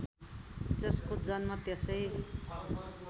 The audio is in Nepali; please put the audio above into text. जसको जन्म त्यसै